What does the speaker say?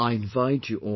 I invite you all